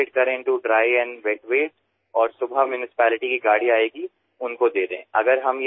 শুকান আৰু সিক্ত জাৱৰৰ পৃথকীকৰণ কৰক আৰু ৰাতিপুৱা যেতিয়া পৌৰনিগমৰ গাড়ী আহিব তেতিয়া তেওঁলোকক প্ৰদান কৰক